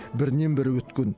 бірінен бірі өткен